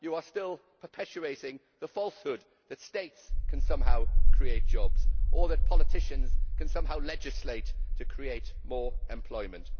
You are still perpetuating the falsehood that states can somehow create jobs or that politicians can somehow legislate to create more employment.